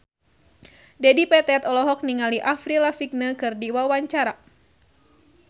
Dedi Petet olohok ningali Avril Lavigne keur diwawancara